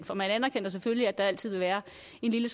for man anerkender selvfølgelig at der altid vil være